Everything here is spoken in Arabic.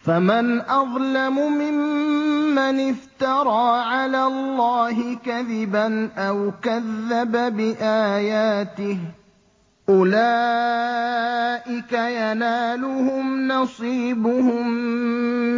فَمَنْ أَظْلَمُ مِمَّنِ افْتَرَىٰ عَلَى اللَّهِ كَذِبًا أَوْ كَذَّبَ بِآيَاتِهِ ۚ أُولَٰئِكَ يَنَالُهُمْ نَصِيبُهُم